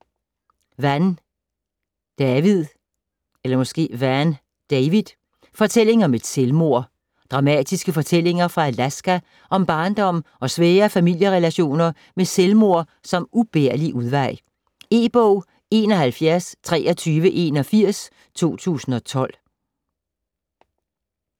Vann, David: Fortælling om et selvmord Dramatiske fortællinger fra Alaska om barndom og svære familierelationer med selvmord som ubærlig udvej. E-bog 712381 2012.